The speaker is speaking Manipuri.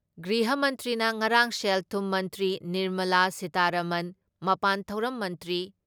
ꯒ꯭ꯔꯤꯍ ꯃꯟꯇ꯭꯭ꯔꯤꯅ ꯉꯔꯥꯡ ꯁꯦꯜ ꯊꯨꯝ ꯃꯟꯇ꯭ꯔꯤ ꯅꯤꯔꯃꯂꯥ ꯁꯤꯇꯥꯔꯥꯃꯟ, ꯃꯄꯥꯟ ꯊꯧꯔꯝ ꯃꯟꯇ꯭ꯔꯤ